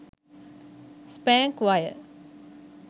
spank wire